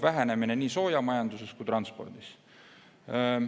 Vähenemine toimub nii soojamajanduses kui transpordis.